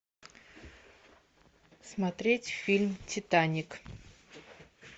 смотреть фильм титаник